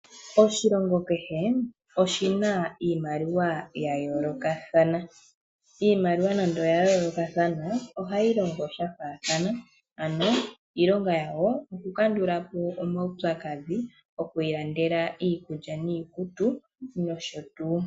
Oshilongo kehe oshina iimaliwa ya yoolokathana, iimaliwa nande oya yoolokathana ohayi longo ya faathana ano iilonga yawo okukandulapo omaupyakadhi, nokwiilandela iikulya niikutu nosho tuu.